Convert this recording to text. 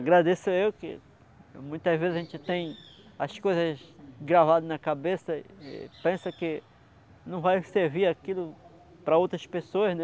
Agradeço eu que muitas vezes a gente tem as coisas gravadas na cabeça e e pensa que não vai servir aquilo para outras pessoas, né?